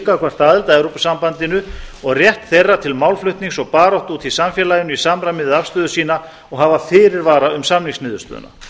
gagnvart aðild að evrópusambandinu og rétt þeirra til málflutnings og baráttu úti í samfélaginu í samræmi við afstöðu sína og hafa fyrirvara um samningsniðurstöðuna